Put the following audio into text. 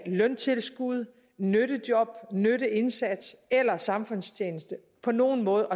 løntilskud nyttejob nytteindsats eller samfundstjeneste på nogen måde